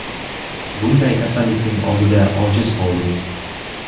Bunday kasallikning oldida ojiz qoldik.